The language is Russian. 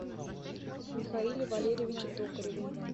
михаиле валерьевиче токареве